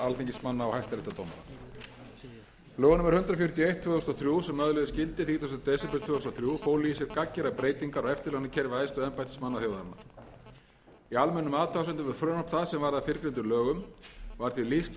sem öðluðust gildi þrítugasti desember tvö þúsund og þrjú fólu í sér gagngerar breytingar á eftirlaunakerfi æðstu embættismanna þjóðarinnar í almennum athugasemdum við frumvarp það sem varð að fyrrgreindum lögum var því lýst að